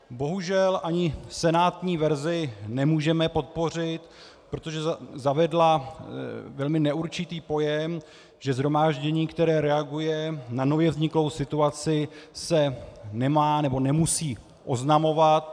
Bohužel, ani senátní verzi nemůžeme podpořit, protože zavedla velmi neurčitý pojem, že shromáždění, které reaguje na nově vzniklou situaci, se nemá nebo nemusí oznamovat.